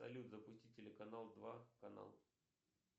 салют запусти телеканал два канал